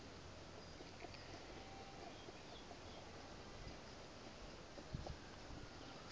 di be tharo mme o